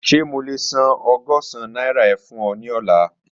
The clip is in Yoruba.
Ṣe mo le san ọgọ́sán naira e fun ọ ni ọla?